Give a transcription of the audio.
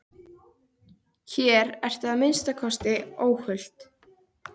Hér ertu að minnsta kosti óhult.